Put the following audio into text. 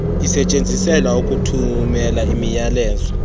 isetyenziselwa ukuthumela imiyalezo